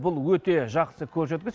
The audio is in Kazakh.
бұл өте жақсы көрсеткіш